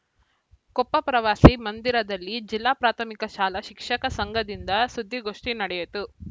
ಕೊಪ್ಪ ಪ್ರವಾಸಿ ಮಂದಿರದಲ್ಲಿ ಜಿಲ್ಲಾ ಪ್ರಾಥಮಿಕ ಶಾಲಾ ಶಿಕ್ಷಕ ಸಂಘದಿಂದ ಸುದ್ಧಿಗೋಷ್ಠಿ ನಡೆಯಿತು